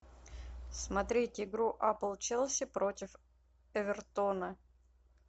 смотреть игру апл челси против эвертона